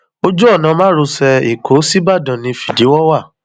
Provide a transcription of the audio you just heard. wọn ní ọlá obìnrin náà ló rán kọlá tó bí ire fún fún báyìí